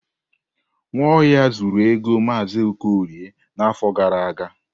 Nwaohia zuru ego Mazi Okorie n'afọ gara aga.